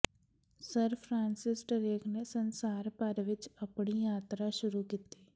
sir Francis Drake ਨੇ ਸੰਸਾਰ ਭਰ ਵਿਚ ਆਪਣੀ ਯਾਤਰਾ ਸ਼ੁਰੂ ਕੀਤੀ